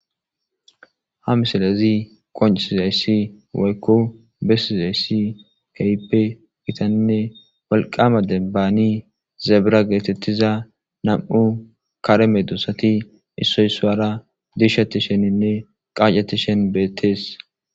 Ha misalezi qoncisi zayssi waykko bessi zayssi kaype gitaninne walqama dembaani zebira geetettiza nam'u kareme duosati issoysuwara dishati sheninne qaacetishen beetees